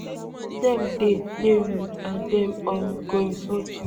dem dey dey rude and dem um go insult you